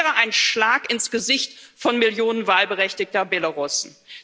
Das wäre ein Schlag ins Gesicht von Millionen wahlberechtigter Belarussen.